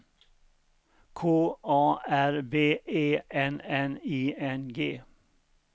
K A R B E N N I N G